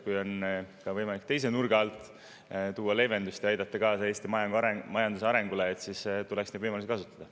Kui on võimalik ka teise nurga alt tuua leevendust ja aidata kaasa Eesti majanduse arengule, siis tuleks neid võimalusi kasutada.